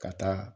Ka taa